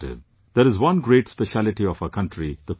There is one great speciality of our country the Kumbh Mela